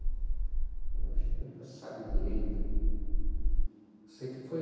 A gente nunca sabe direito. Sei que foi